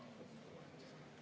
Palun võtta seisukoht ja hääletada!